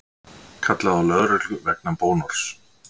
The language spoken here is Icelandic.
Kallaði á lögreglu vegna bónorðs